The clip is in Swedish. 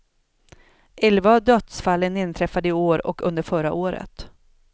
Elva av dödsfallen inträffade i år och under förra året.